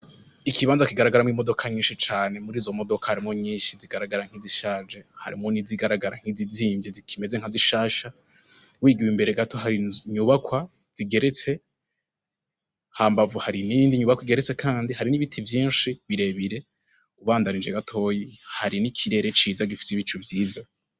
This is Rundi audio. Ikibanza kigaragara mwo imodoka nyinshi cane muri zo modoka harimo nyinshi zigaragara nk'izishaje harimo nizigaragara nk'izizimvye zikimeze nkazishasha wiguwe imbere gato hari nyubakwa zigeretse ha mbavu hari nindi nyubakwa igeretse, kandi hari n'ibiti vyinshi birebire ubandanije gatoyi hari n'ikirere ciza gifza ico myiza.